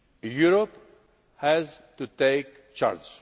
Europe has to take charge.